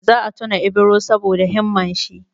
Za a tuna Ibro saboda himman shi.